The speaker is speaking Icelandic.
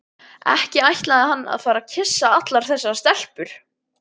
Ekki ætlaði hann að fara að kyssa allar þessar stelpur.